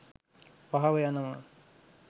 පහව යනවා.